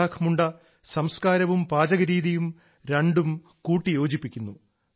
ഇസാക്ക് മുണ്ട സംസ്കാരവും പാചകരീതിയും രണ്ടും കൂട്ടിയോജിപ്പിക്കുന്നു